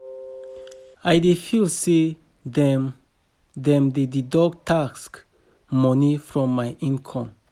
I dey feel say dem dem dey deduct tax money from my income